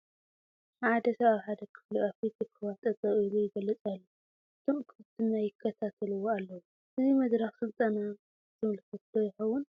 ሓደ ሰብ ኣብ ሓደ ክፍሊ ኣፊት እኩባት ጠጠው ኢሉ ይገልፅ ኣሎ፡፡ እቶም እኩባት ድማ ይከታተልዎ ኣለዉ፡፡ እዚ መድረኽ ስልጠና ዝምልከት ዶ ይኸውን?